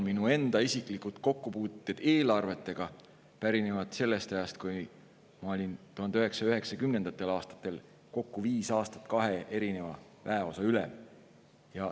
Minu enda isiklikud kokkupuuted eelarvetega pärinevad sellest ajast, kui ma olin 1990. aastatel kokku viis aastat kahe erineva väeosa ülem.